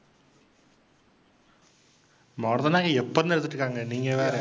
மருதநாயகம் எப்பலேந்து எடுத்துகிட்டிருக்காங்க, நீங்க வேற.